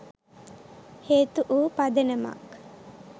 හේතු වූ පදනමක්